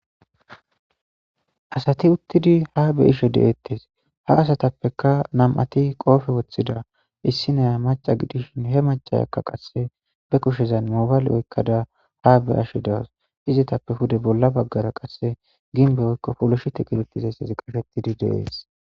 asati uttidi ha be ishe deeettes ha asatappeka nam7ati qoofe woththida issinaya maca gidishin he macayakka qasse be kushezan mobale oykkada ha be ashe dawas izitappe hude bolla baggara qasse ginbe oykko poloshi te kidetizayssesi qashettidi deees